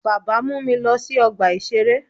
Baba mu mi lọ si ọgba iṣere.